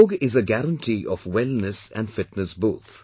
Yoga is a guarantee of wellness and fitness both